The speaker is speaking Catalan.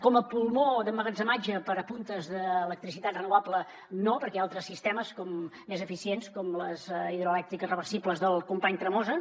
com a pulmó d’emmagatzematge per a puntes d’electricitat renovable no perquè hi ha altres sistemes més eficients com les hidroelèctriques reversibles del company tremosa